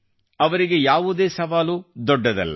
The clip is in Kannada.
ಅವರಿಗೆ ಯಾವುದೇ ಸವಾಲು ದೊಡ್ಡದಲ್ಲ